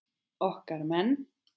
Okkar menn